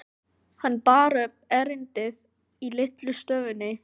Hann bar upp erindið í litlu stofunni.